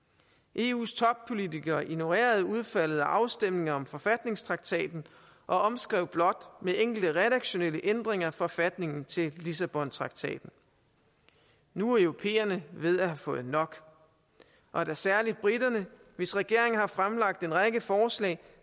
eus toppolitikere ignorerede udfaldet af afstemningen om forfatningstraktaten og omskrev blot med enkelte redaktionelle ændringer forfatningen til lissabontraktaten nu er europæerne ved at have fået nok og da særlig briterne hvis regering har fremlagt en række forslag